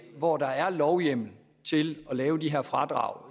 hvor der er lovhjemmel til at lave de her fradrag